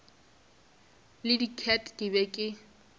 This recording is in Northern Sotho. le diket ke be ke